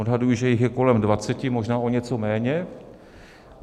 Odhaduji, že jich je kolem 20, možná o něco méně.